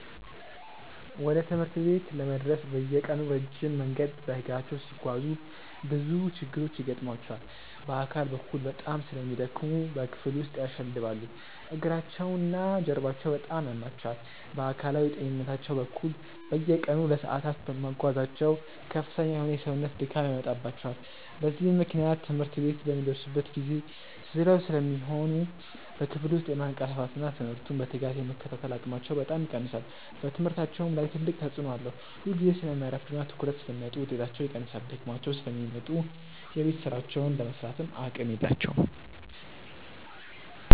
ወደ ትምህርት ቤት ለመድረስ በየቀኑ ረጅም መንገድ በእግራቸው ሲጓዙ ብዙ ችግሮች ይገጥሟቸዋል። በአካል በኩል በጣም ስለሚደክሙ በክፍል ውስጥ ያሸልባሉ፤ እግራቸውና ጀርባቸውም በጣም ያማቸዋል። በአካላዊ ጤንነታቸው በኩል፣ በየቀኑ ለሰዓታት መጓዛቸው ከፍተኛ የሆነ የሰውነት ድካም ያመጣባቸዋል። በዚህም ምክንያት ትምህርት ቤት በሚደርሱበት ጊዜ ዝለው ስለሚሆኑ በክፍል ውስጥ የማንቀላፋትና ትምህርቱን በትጋት የመከታተል አቅማቸው በጣም ይቀንሳል። በትምህርታቸውም ላይ ትልቅ ተጽዕኖ አለው፤ ሁልጊዜ ስለሚያረፍዱና ትኩረት ስለሚያጡ ውጤታቸው ይቀንሳል። ደክሟቸው ስለሚመጡ የቤት ሥራቸውን ለመሥራትም አቅም የላቸውም።